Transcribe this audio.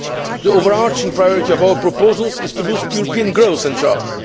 The overarching priority of our proposals is to boost European growth and jobs.